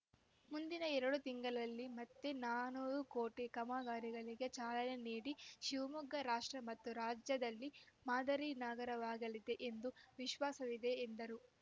ಮುಂದಿನ ಎರಡು ತಿಂಗಳಲ್ಲಿ ಮತ್ತೆ ನಾನೂರು ಕೋಟಿ ಕಾಮಗಾರಿಗಳಿಗೆ ಚಾಲನೆ ನೀಡಿ ಶಿವಮೊಗ್ಗ ರಾಷ್ಟ್ರ ಮತ್ತು ರಾಜ್ಯದಲ್ಲಿ ಮಾದರಿ ನಗರವಾಗಲಿದೆ ಎಂದು ವಿಶ್ವಾಸವಿದೆ ಎಂದರು